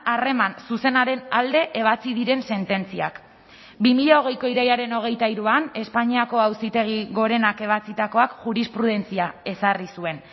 harreman zuzenaren alde ebatzi diren sententziak bi mila hogeiko irailaren hogeita hiruan espainiako auzitegi gorenak ebatzitakoak jurisprudentzia ezarri zuen